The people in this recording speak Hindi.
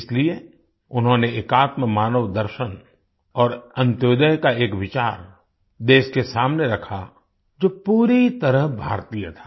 इसीलिए उन्होंने एकात्ममानवदर्शन और अंत्योदय का एक विचार देश के सामने रखा जो पूरी तरह भारतीय था